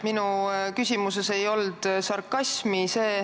Minu küsimuses ei olnud sarkasmi.